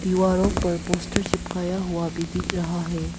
दीवारों पर पोस्टर चिपकाया हुआ भी दिख रहा है।